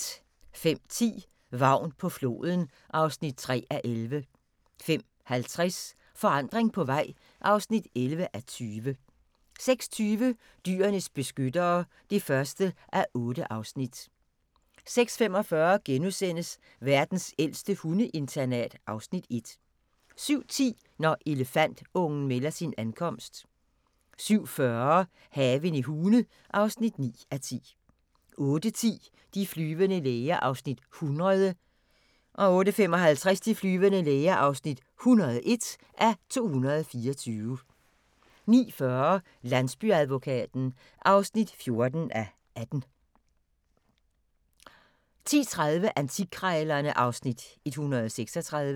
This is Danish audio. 05:10: Vagn på floden (3:11) 05:50: Forandring på vej (11:20) 06:20: Dyrenes beskyttere (1:8) 06:45: Verdens ældste hundeinternat (Afs. 1)* 07:10: Når elefantungen melder sin ankomst 07:40: Haven i Hune (9:10) 08:10: De flyvende læger (100:224) 08:55: De flyvende læger (101:224) 09:40: Landsbyadvokaten (14:18) 10:30: Antikkrejlerne (Afs. 136)